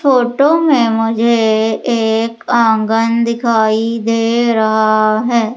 Photo में मुझे एक आंगन दिखाई दे रहा है।